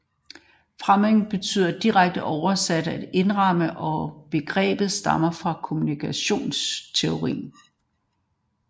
Framing betyder direkte oversat at indramme og begrebet stammer fra kommunikationsteorien